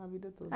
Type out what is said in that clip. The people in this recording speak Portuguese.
A vida toda.